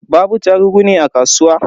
Babu attarugu ne a kasuwa?